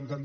era